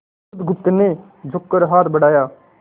बुधगुप्त ने झुककर हाथ बढ़ाया